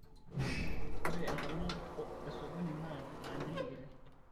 ore enkolong' esokoni naa mambili kiti